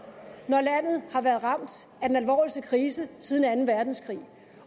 når landet har været ramt af den alvorligste krise siden anden verdenskrig